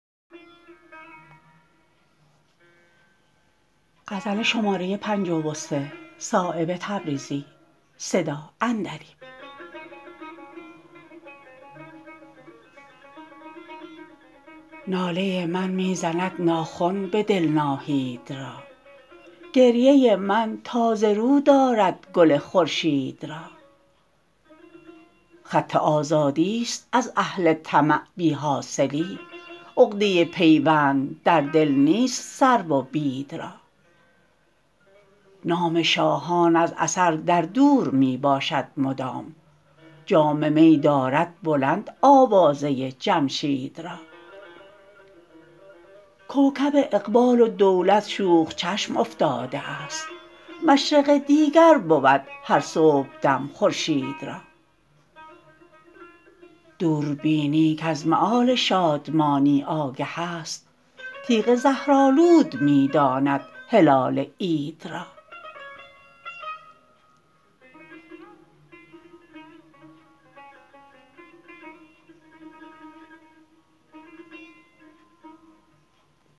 ناله من می زند ناخن به دل ناهید را گریه من تازه رو دارد گل خورشید را خط آزادی است از اهل طمع بی حاصلی عقده پیوند در دل نیست سرو و بید را نام شاهان از اثر در دور می باشد مدام جام می دارد بلند آوازه جمشید را کوکب اقبال و دولت شوخ چشم افتاده است مشرق دیگر بود هر صبحدم خورشید را دوربینی کز مآل شادمانی آگه است تیغ زهرآلود می داند هلال عید را